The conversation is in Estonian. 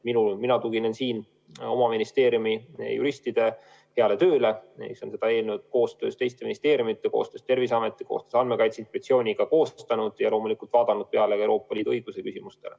Mina tuginen oma ministeeriumi juristide heale tööle, neile, kes on seda eelnõu koostöös teiste ministeeriumidega, koostöös Terviseameti ja Andmekaitse Inspektsiooniga koostanud ja loomulikult mõelnud ka Euroopa Liidu õiguse küsimustele.